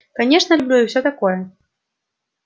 конечно люблю и все такое